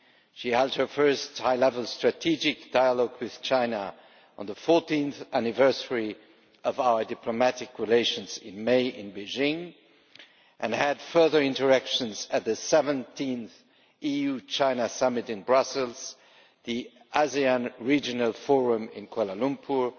She held her first high level strategic dialogue with China on the 14th anniversary of our diplomatic relations in May in Beijing, and had further interactions at the 17th EU China summit in Brussels, the ASEAN Regional Forum in Kuala Lumpur,